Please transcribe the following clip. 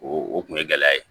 O o kun ye gɛlɛya ye